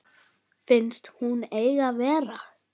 Finnst hún engin vera.